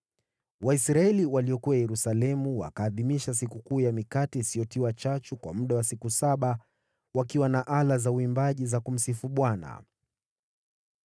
Waisraeli waliokuwa Yerusalemu wakaadhimisha Sikukuu ya Mikate Isiyotiwa Chachu kwa muda wa siku saba, nao Walawi na makuhani walikuwa wakiimba kila siku, wakiwa na ala za uimbaji za kumsifu Bwana .